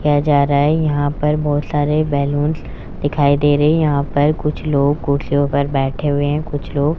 किया जा रहा है यहां पर बहोत सारे बैलूंस दिखाई दे रहे हैं यहां पर कुछ लोग कुर्सियों पर बैठे हुए हैं कुछ लोग --